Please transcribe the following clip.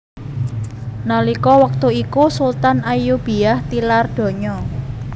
Nalika wektu iku Sultan Ayyubiyah tilar donya